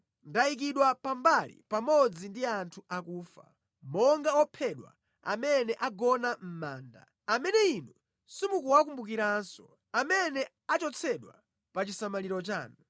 Ndayikidwa pambali pamodzi ndi anthu akufa, monga ophedwa amene agona mʼmanda, amene Inu simuwakumbukiranso, amene achotsedwa pa chisamaliro chanu.